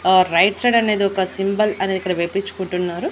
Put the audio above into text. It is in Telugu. ఆ రైట్ సైడ్ అనేది ఒక సింబల్ అనేది ఇక్కడ వేపించుకుంటున్నారు.